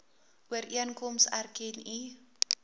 ooreenkoms erken u